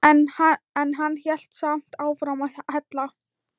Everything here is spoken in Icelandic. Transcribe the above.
En hann hélt samt áfram að hella.